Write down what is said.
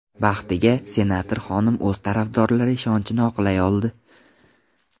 Baxtiga, senator xonim o‘z tarafdorlari ishonchini oqlay oldi.